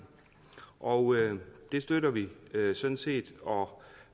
og det støtter vi sådan set og